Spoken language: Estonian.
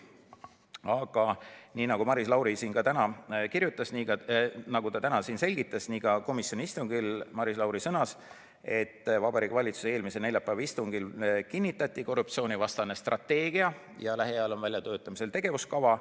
Aga nii nagu Maris Lauri täna siin selgitas, sõnas ta ka komisjoni istungil, et Vabariigi Valitsuse eelmise neljapäeva istungil kinnitati korruptsioonivastane strateegia ja lähiajal on väljatöötamisel tegevuskava.